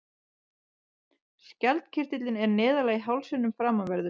Skjaldkirtillinn er neðarlega í hálsinum framanverðum.